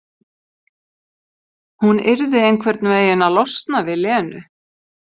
Hún yrði einhvern veginn að losna við Lenu.